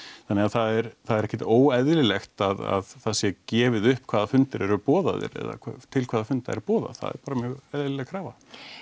þannig að það er ekkert óeðlilegt að það sé gefið upp hvaða fundir eru boðaðir eða til hvaða funda er boðað það er bara mjög eðlileg krafa